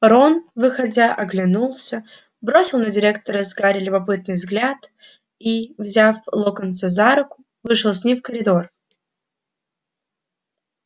рон выходя оглянулся бросил на директора с гарри любопытный взгляд и взяв локонса за руку вышел с ним в коридор